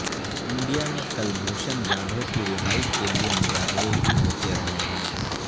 India میں کلبھوشن جادھو کی رہائی کے لیے مظاہرے بھی ہوتے رہے ہیں